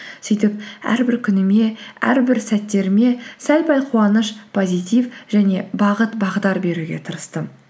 сөйтіп әрбір күніме әрбір сәттеріме сәл пәл қуаныш позитив және бағыт бағдар беруге тырыстым